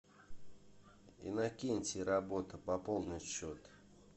иннокентий работа пополнить счет